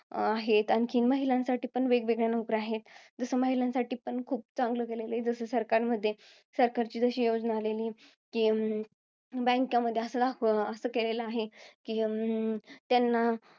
आहेत. आणखीन महिलांसाठी पण वेगवेगळ्या नोकऱ्या आहेत. जसं महिलांसाठी पण खूप चांगलं केलेलं आहे, जसं सरकार मध्ये सरकारची जशी योजना आलेली. कि, bank मध्ये असं केलेलं आहे, अं त्यांना